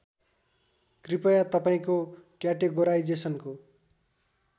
कृपया तपाईँको क्याटेगोराइजेसनको